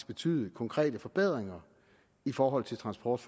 betyde konkrete forbedringer i forhold til transport